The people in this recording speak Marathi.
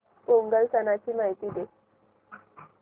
पोंगल सणाची माहिती दे